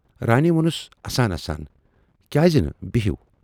رانی وونُس اَسان اَسان کیازٕ نہٕ بِہِو